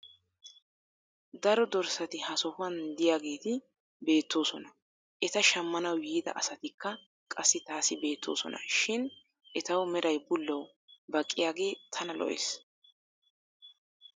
daro dorsati ha sohuwan diyaageeti beetoosona. eta shammanawu yiida asatikka qassi taassi beetoososna. shin etawu meray bullawu baqqiyagee tana lo'ees.